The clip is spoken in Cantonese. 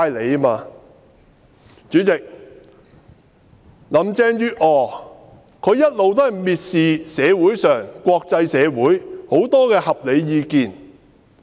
代理主席，林鄭月娥一直蔑視社會和國際社會各種合理意見。